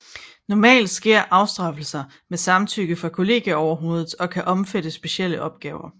Normalt sker afstraffelser med samtykke fra kollegieoverhovedet og kan omfatte specielle opgaver